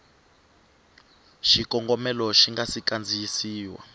xikombelo xi nga si kandziyisiwa